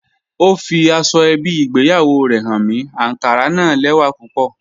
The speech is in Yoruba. Ọ fí àsọ̀-èbí ìgbéyàwó rè háń mi, ànkárà na lẹ́wà púpọ̀